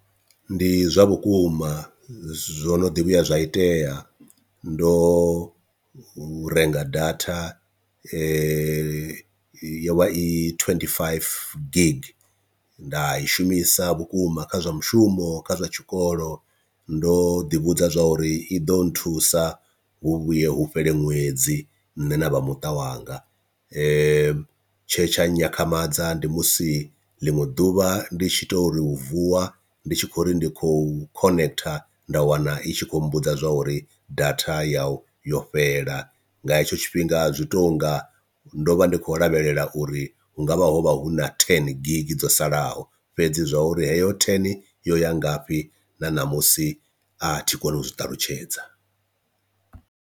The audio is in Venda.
Ndi zwa vhukuma zwo no ḓi vhuya zwa itea ndo renga data yo vha i twenty five gig, nda i shumisa vhukuma kha zwa mushumo kha zwa tshikolo ndo ḓi vhudza zwa uri i ḓo nthusa hu vhuye hu fhele ṅwedzi nṋe na vhamuṱa wanga, tshe tsha nyakhamadza ndi musi ḽiṅwe ḓuvha ndi tshi to uri u vuwa ndi tshi khou ri ndi khou connecter nda wana i tshi khou mbudza zwauri data yau yo fhela, nga hetsho tshifhinga zwi tonga ndo vha ndi khou lavhelela uri hungavha ho vha hu na ten gig dzo salaho fhedzi zwa uri heyo ten yo ya ngafhi na namusi a thi koni u zwi ṱalutshedza.